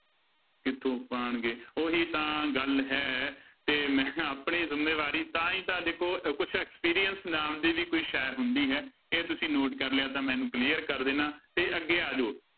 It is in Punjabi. ਕਿੱਥੋਂ ਪਾਉਣਗੇ ਉਹੀ ਤਾਂ ਗੱਲ ਹੈ ਤੇ ਮੈਂ ਆਪਣੀ ਜ਼ਿੰਮੇਵਾਰੀ ਤਾਂ ਹੀ ਤਾਂ ਦੇਖੋ ਕੁਛ experience ਨਾਮ ਦੀ ਵੀ ਕੋਈ ਸ਼ੈਅ ਹੁੰਦੀ ਹੈ ਇਹ ਤੁਸੀਂ note ਕਰ ਲਿਆ ਤਾਂ ਮੈਂ ਇਹਨੂੰ clear ਕਰ ਦਿਨਾ, ਤੇ ਅੱਗੇ ਆ ਜਾਓ।